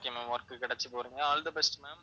okay ma'am work கிடைச்சு போறீங்க all the best ma'am